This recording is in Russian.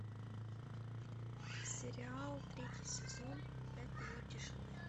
сериал третий сезон пять минут тишины